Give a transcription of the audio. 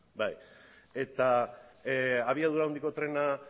bai eta abiadura handiko trena